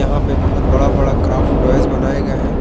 वहां पे बहोत बड़ा बड़ा क्राफ्ट टॉयज बनाए गए हैं।